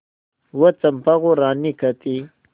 वह चंपा को रानी कहती